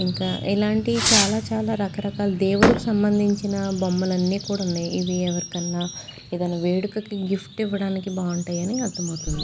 ఇంకా ఎలాంటి చాలా చాలా రకరకాల దేవుడు సంబంధించిన బొమ్మలన్నీ కూడా ఉన్నాయి. ఇది ఎవరితో ఏదైనా వేడుకకు గిఫ్ట్ ఇవ్వడానికి బాగుంటాయని అర్థం అవుతుంది.